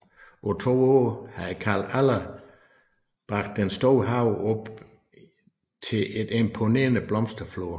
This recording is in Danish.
På to år havde Carl Aller bragt den store have op til et imponerende blomsterflor